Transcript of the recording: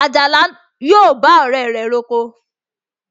Àjàlá yóò bá ọ̀rẹ́ rẹ̀ roko